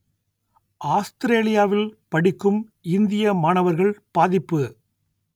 ஆஸ்திரேலியாவில் படிக்கும் இந்திய மாணவர்கள் பாதிப்பு